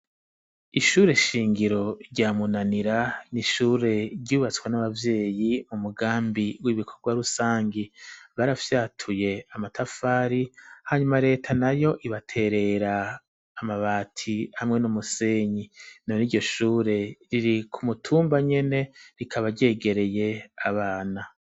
Ishure shingiro rya Munanira n'ishure ryubatswe n'abavyeyi umugambi w'ibikorwa rusangi barafyatuye amatafari hanyuma leta nayo ibaterera amabati hamwe n'umusenyi none iryoshure riri ku mutumba nyene rikaba ryegereye abana.